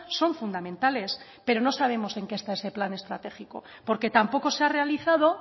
son fundamentales pero no sabemos en qué está ese plan estratégico porque tampoco se ha realizado